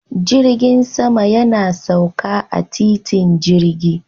Jirgin sama yana sauka a titin jirgi